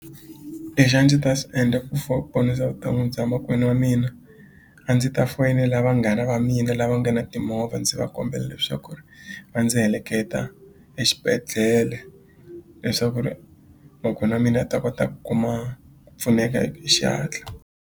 Lexi a ndzi ta xi endla ku ponisa bya makwenu wa mina a ndzi ta foyinela vanghana va mina lava nga na timovha ndzi va kombela leswaku ri va ndzi heleketa exibedhlele leswaku ri makwenu wa mina a ta kota ku kuma pfuneka xihatla.